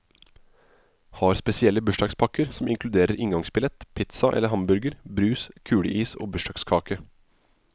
Har spesielle bursdagspakker som inkluderer inngangsbillett, pizza eller hamburger, brus, kuleis og bursdagskake.